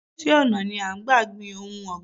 Orísìí ọ̀nà ni à ń gbà gbin ohun ọ̀gbìn